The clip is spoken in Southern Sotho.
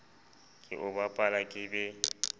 ke o bapala ke be